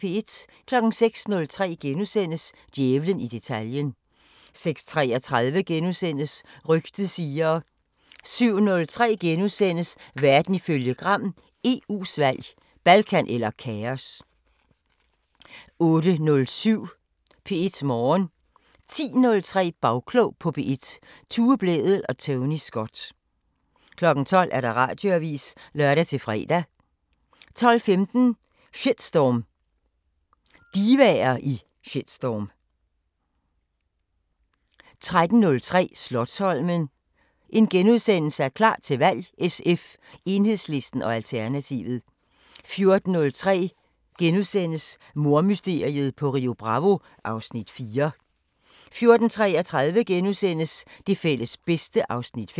06:03: Djævlen i detaljen * 06:33: Rygtet siger * 07:03: Verden ifølge Gram: EU's valg – Balkan eller kaos! * 08:07: P1 Morgen 10:03: Bagklog på P1: Tue Blædel og Tony Scott 12:00: Radioavisen (lør-fre) 12:15: Shitstorm: Divaer i shitstorm 13:03: Slotsholmen – klar til valg: SF, Enhedslisten og Alternativet * 14:03: Mordmysteriet på Rio Bravo (Afs. 4)* 14:33: Det fælles bedste (Afs. 5)*